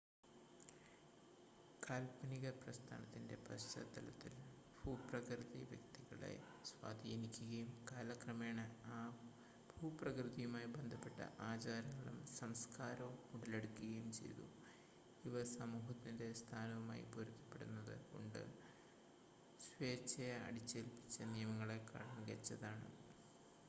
കാൽപ്പനിക പ്രസ്ഥാനത്തിൻ്റെ പശ്ചാത്തലത്തിൽ ഭൂപ്രകൃതി വ്യക്തികളെ സ്വാധീനിക്കുകയും കാലക്രമേണ ആ ഭൂപ്രകൃതയുമായി ബന്ധപ്പെട്ട ആചാരങ്ങളും സംസ്‌കാരവും ഉടലെടുക്കുകയും ചെയ്തു ഇവ സമൂഹത്തിൻ്റെ സ്ഥാനവുമായി പൊരുത്തപ്പെടുന്നത് കൊണ്ട് സ്വേച്ഛയാ അടിച്ചേൽപ്പിച്ച നിയമങ്ങളേക്കാൾ മികച്ചതാണ്